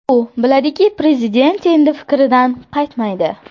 U biladiki, Prezident endi fikridan qaytmaydi.